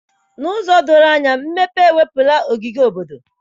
N'ụzọ doro anya, mmepe ewepụla ogige obodo.